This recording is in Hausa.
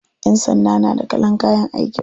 Ƴan sanda na da kalan kayan aikin su.